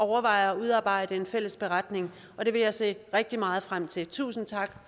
overvejer at udarbejde en fælles beretning og det vil jeg se rigtig meget frem til tusind tak